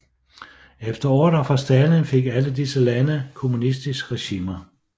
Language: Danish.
Efter ordre fra Stalin fik alle disse lande kommunistiske regimer